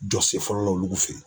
Jɔ sen fɔlɔ la olu fe yen.